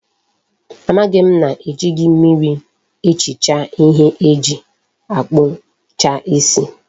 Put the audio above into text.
Amaghi m na ejighi mmiri ehicha ihe eji akpucha isi